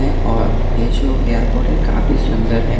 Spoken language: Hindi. और ये जो एयरपोर्ट है काफी सुंदर है।